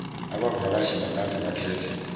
abavakashi bangaze bakhethe